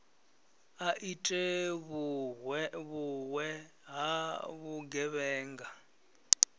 a ite vhuwe ha vhugevhenga